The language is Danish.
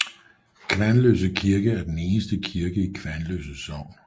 Kvanløse Kirke er den eneste kirke i Kvanløse sogn